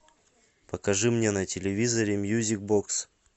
покажи мне на телевизоре мьюзик бокс